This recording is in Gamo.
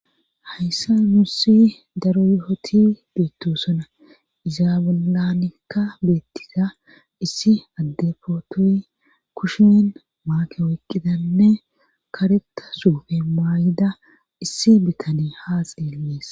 Hayssa nuussi daro yohoti beettosuna izaabulanikka beettida issi addefootoy kushen maake woyqqidanne kareta suufe maayida issi bitani haa xeelees